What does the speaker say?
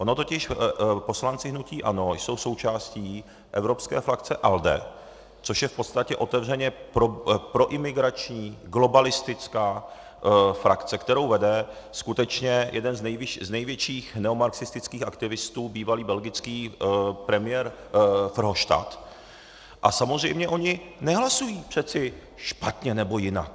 Oni totiž poslanci hnutí ANO jsou součástí evropské frakce ALDE, což je v podstatě otevřeně proimigrační globalistická frakce, kterou vede skutečně jeden z největších neomarxistických aktivistů, bývalý belgický premiér Verhofstadt, a samozřejmě oni nehlasují přece špatně nebo jinak.